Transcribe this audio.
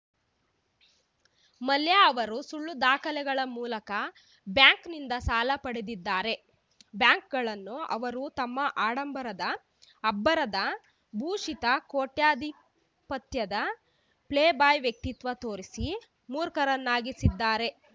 ಮಲ್ಯ ಅವರು ಸುಳ್ಳು ದಾಖಲೆಗಳ ಮೂಲಕ ಬ್ಯಾಂಕ್‌ನಿಂದ ಸಾಲ ಪಡೆದಿದ್ದಾರೆ ಬ್ಯಾಂಕ್‌ಗಳನ್ನು ಅವರು ತಮ್ಮ ಆಡಂಬರದ ಅಬ್ಬರದ ಭೂಷಿತ ಕೋಟ್ಯಧಿಪತ್ಯದ ಪ್ಲೇಬಾಯ್‌ ವ್ಯಕ್ತಿತ್ವ ತೋರಿಸಿ ಮೂರ್ಖರನ್ನಾಗಿರಿಸಿದ್ದಾರೆ